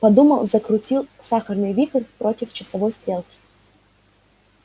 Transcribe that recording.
подумал закрутил сахарный вихрь против часовой стрелки